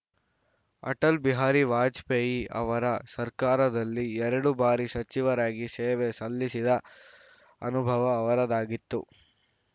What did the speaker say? ಅಟಲ್‌ ಬಿಹಾರಿ ವಾಜಪೇಯಿ ಅವರ ಸರ್ಕಾರದಲ್ಲಿ ಎರಡು ಬಾರಿ ಸಚಿವರಾಗಿ ಸೇವೆ ಸಲ್ಲಿಸಿದ ಅನುಭವ ಅವರದ್ದಾಗಿತ್ತು